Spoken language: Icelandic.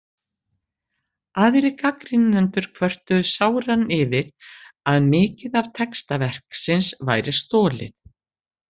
Aðrir gagnrýnendur kvörtuðu sáran yfir að mikið af texta verksins væri stolið.